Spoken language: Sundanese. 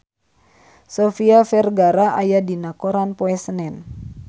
Sofia Vergara aya dina koran poe Senen